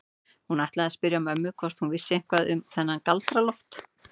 Hún ætlaði að spyrja ömmu hvort hún vissi eitthvað um þennan Galdra-Loft.